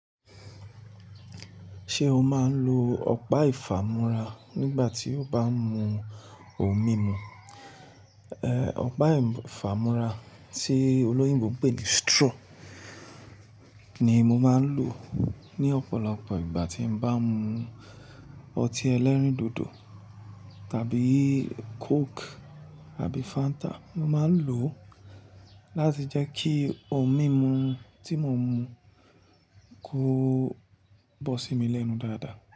Ṣé o máa ń lo ọ̀pá ìfàmú́ra nígbà tí o bá ń mu ohun mímu? Ẹ̀, ọ̀pá ìfàmú́ra tí olóyìnbo ń pè ní straw ni mo máa ń lò ní ọ̀pọ̀lọpọ̀ ìgbà tí mo bá ń mu ọtí ẹlẹ́rìndòdò tàbí Coke àbí Fanta. Mo máa ń lò ó láti jẹ́ kí ohun mímu tí mo ń mu kó bọ́ sí mi lẹ́nu dáadáa.